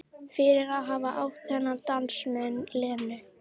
Fyrir að hafa átt þennan dans með Lenu.